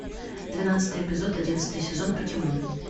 двенадцатый эпизод одиннадцатый сезон покемон